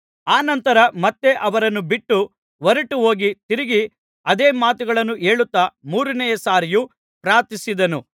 ಅನಂತರ ಮತ್ತೆ ಅವರನ್ನು ಬಿಟ್ಟು ಹೊರಟುಹೋಗಿ ತಿರುಗಿ ಅದೇ ಮಾತುಗಳನ್ನು ಹೇಳುತ್ತಾ ಮೂರನೆಯ ಸಾರಿಯೂ ಪ್ರಾರ್ಥಿಸಿದನು